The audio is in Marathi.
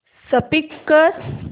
स्कीप कर